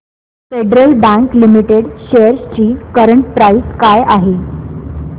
federal Bank Limited shares ची current price काय आहे